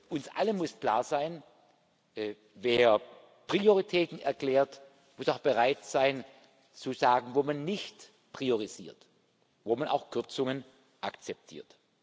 Uns allen muss klar sein Wer Prioritäten erklärt, muss auch bereit sein zu sagen, wo man nicht priorisiert, wo man auch Kürzungen akzeptiert.